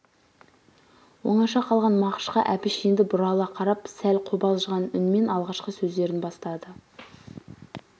оңаша қалған мағышқа әбіш енді бұрыла қарап сәл қобалжыған үнмен алғашқы сөздерін бастады